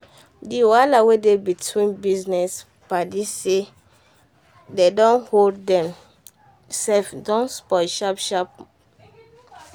the wahala wey dey between business paddy say dem dey owe dem sef don spoil sharp sharp.